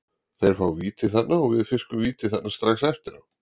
Þeir fá víti þarna og við fiskum víti þarna strax eftir á.